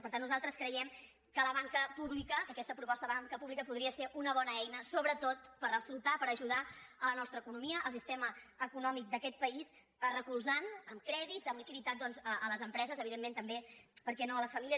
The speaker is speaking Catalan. per tant nosaltres creiem que aquesta proposta de banca pública podria ser una bona eina sobretot per reflotar per ajudar la nostra economia el sistema econòmic d’aquest país recolzant amb crèdit amb liquiditat les empreses evidentment també per què no les famílies